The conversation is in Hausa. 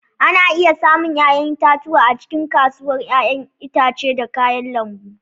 Ana iya samun 'ya'yan itatuwa a cikin kasuwar 'ya'yan itace da kayan lambu.